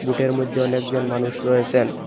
বোটের মধ্যে অনেকজন মানুষ রয়েসেন।